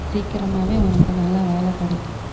சீக்கிரமாவே உனக்கு நல்ல வேலை கிடைக்கும்